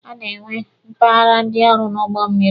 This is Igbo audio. A na-enwe mpaghara ndị ọrụ n'ụgbọ mmịrị.